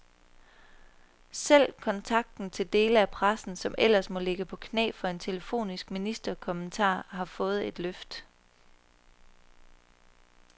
Selv kontakten til dele af pressen, som ellers må ligge på knæ for en telefonisk ministerkommentar, har fået et løft.